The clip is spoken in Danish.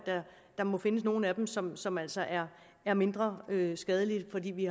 der må findes nogle af dem som som altså er er mindre skadelige fordi vi